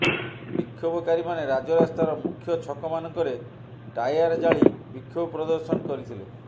ବିକ୍ଷୋଭକାରୀମାନେ ରାଜରାସ୍ତାର ମୁଖ୍ୟଛକମାନଙ୍କରେ ଟାୟାର ଜାଳି ବିକ୍ଷୋଭ ପ୍ରଦର୍ଶନ କରିଥିଲେ